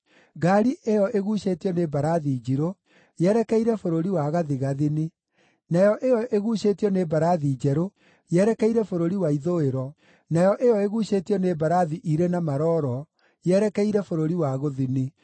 Ngaari ĩyo ĩguucĩtio nĩ mbarathi njirũ yerekeire bũrũri wa gathigathini, nayo ĩyo ĩguucĩtio nĩ mbarathi njerũ yerekeire bũrũri wa ithũĩro, nayo ĩyo ĩguucĩtio nĩ mbarathi irĩ na maroro yerekeire bũrũri wa gũthini.”